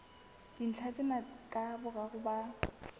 dintlha tsena ka boraro ba